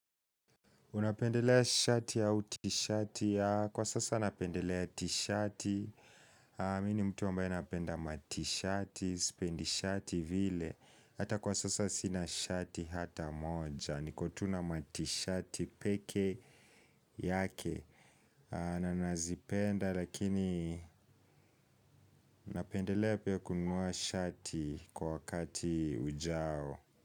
Unapendelea shati au tishati ya kwa sasa napendelea t-shati. Mini mtu ambae napenda mati shati, spendi shati vile. Hata kwa sasa sina shati hata moja. Niko tu na matishati peke yake. Na nazipenda lakini napendelea pia kununua shati kwa wakati ujao.